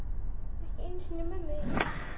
Ekki einu sinni mömmu þína.